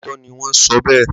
Lóòótọ́ ni wọ́n sọ bẹ́ẹ̀.